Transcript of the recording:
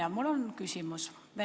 Aga mul on küsimus.